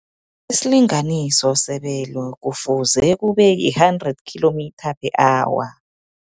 Isilinganiso sebelo, kufuze kube yi-hundred kilometre per hour.